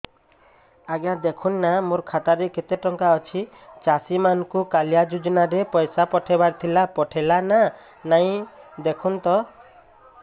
ଆଜ୍ଞା ଦେଖୁନ ନା ମୋର ଖାତାରେ କେତେ ଟଙ୍କା ଅଛି ଚାଷୀ ମାନଙ୍କୁ କାଳିଆ ଯୁଜୁନା ରେ ପଇସା ପଠେଇବାର ଥିଲା ପଠେଇଲା ନା ନାଇଁ ଦେଖୁନ ତ